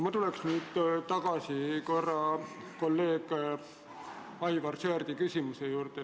Ma tulen korraks tagasi kolleeg Aivar Sõerdi küsimuse juurde.